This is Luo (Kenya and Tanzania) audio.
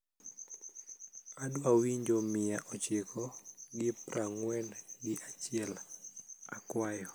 adwa winjo mia ochiko gi praangwen gi achiel akwayo